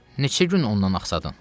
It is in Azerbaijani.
Neçə gün ondan axsadan?